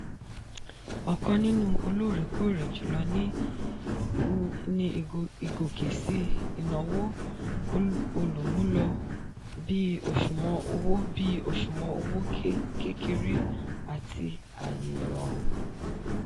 ọ̀kan nínú olóòrèkóòrè jùlọ ni ìgòkè síi ìnáwó olùmúlò bí òṣùwọ̀n owó bí òṣùwọ̀n owó kékeré àti ààyè ìrọ̀rùn.